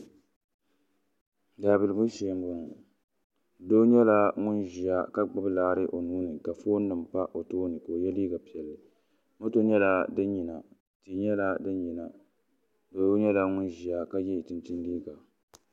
daabiligu shee m-bɔŋɔ doo nyɛla ŋun ʒiya ka gbubi laɣiri o nuu ni ka foonima pa o tooni ka o ye liiga piɛlli moto nyɛla din yina cheche nyɛla din yina doo nyɛla ŋun ʒiya ka ye chinchini liiga.